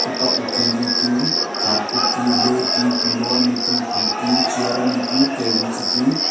tok ma T_V tue carpet tue le Pillow anyi tue chair anyi tu table chu tue.